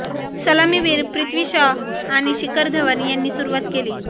सलामीवीर पृथ्वी शॉ आणि शिखर धवन यांनी सुरुवात केली